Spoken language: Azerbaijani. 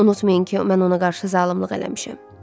Unutmayın ki, mən ona qarşı zalımlıq eləmişəm.